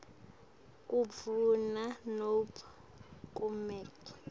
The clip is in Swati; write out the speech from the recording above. kundvuna nobe kumec